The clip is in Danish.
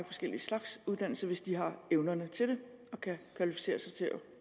forskellige slags uddannelser hvis de har evnerne til det og kan kvalificere sig til at